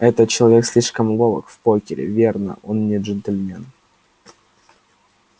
этот человек слишком ловок в покер верно он не джентльмен